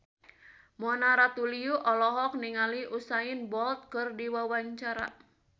Mona Ratuliu olohok ningali Usain Bolt keur diwawancara